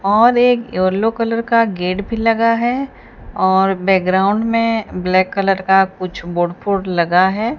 और एक yellow colour का गेट भी लगा है और बैकग्राउंड में ब्लैक कलर का कुछ बोर्ड फोड लगा है।